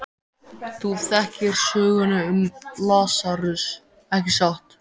Þú þekkir söguna um Lasarus, ekki satt?